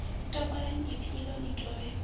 topolani ipfi iḽo ni dovhe